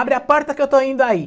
Abre a porta que eu estou indo aí.